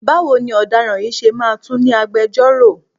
Báwo ni ọ̀daràn yìí ṣe máa tún ní agbejọ́rò?